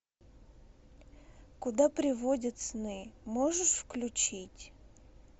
куда приводят сны можешь включить